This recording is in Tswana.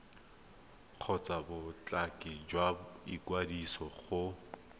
kgotsa bothati jwa ikwadiso go